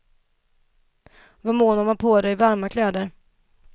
Var mån om att ha på dig varma kläder.